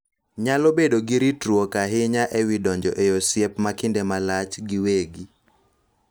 Nyalo bedo gi ritruok ahinya e wi donjo e osiep ma kinde malach giwegi